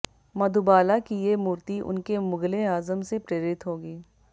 मधुबाला की ये मूर्ती उनके मुगल ए आजम से प्रेरित होगी